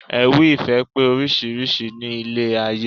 Ewì ìfẹ́ pé oríṣiríṣi ní ilé ayé